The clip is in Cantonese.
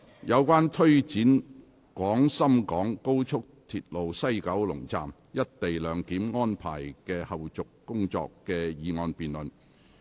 有關推展廣深港高速鐵路西九龍站"一地兩檢"安排的後續工作的議案辯論。